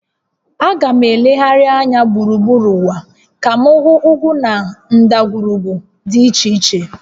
Aga m elegharị anya gburugburu ụwa ka m hụ ugwu na ndagwurugwu dị iche iche